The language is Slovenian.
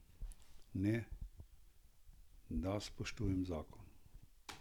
Ne, da spoštujejo zakon.